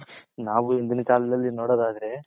ನಾವು ಇಂದಿನ ಕಾಲದಲ್ಲಿ ನೋಡೋದ್ ಆದ್ರೆ.